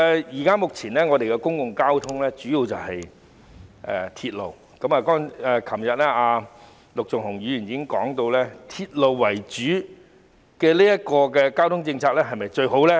現時本港的公共交通工具主要是鐵路，陸頌雄議員昨天已經提出"鐵路為主"的公共運輸政策是否最好的疑問。